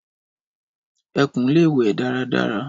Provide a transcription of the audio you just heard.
Ẹkùn le we daradara.